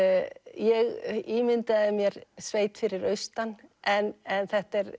ég ímyndaði mér sveit fyrir austan en en þetta er